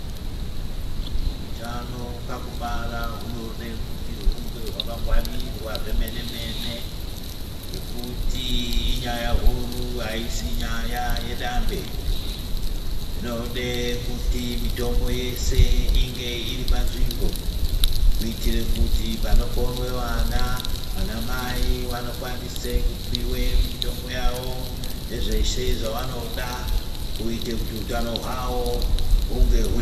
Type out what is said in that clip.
Utano pakubara hunode kuti hunge hwakangwarirwa zvemenemene ngekuti inyaya huru ayisi nyaya yedambe, inode kuti mitombo yese inge iripanzvimbo kuitire kuti panoponwe vana, vanamai vano kwanise kupiwa mitombo yawo nezveshe zvavanoda kuitire kuti utano hwavo hupetuke pandau.